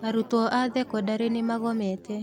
Arutuo a thekondarĩ nĩmagomete.